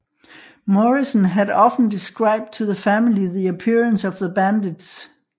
Morrison had often described to the family the appearance of the bandits